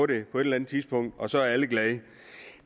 det på et tidspunkt og så er alle glade